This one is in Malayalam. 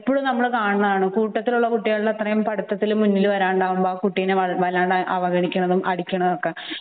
ഇപ്പോഴും നമ്മൾ കാണുന്നതാണ് കൂട്ടത്തിൽ ഉള്ള കുട്ടിയുടെ അത്രയും പഠിത്തത്തിൽ മുന്നിൽ മുന്നിൽ വരാതാവുമ്പോൾ കുട്ടിയെ വല്ലാതെ അവഗണിക്കുന്നതും അടിക്കുന്നതും ഒക്കെ